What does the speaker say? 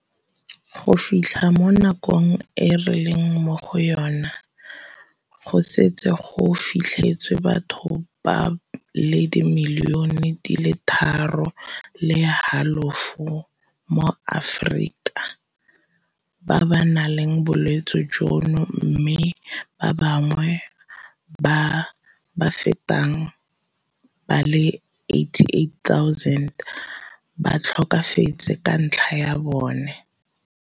Go fitlha mo nakong e re leng mo go yona e go setse go fitlhetswe batho ba le dimilione di le tharo le halofo mo Aforika ba ba nang le bolwetse jono mme ba bangwe ba ba fetang ba le 88 000 ba tlhokafetse ka ntlha ya bone.